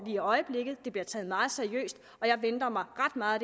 i øjeblikket og det bliver taget meget seriøst jeg venter mig ret meget